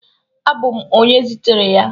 Abụ m onye zitere ya